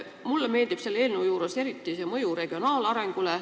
Mulle meeldib selle eelnõu juures eriti eeldatav mõju regionaalarengule.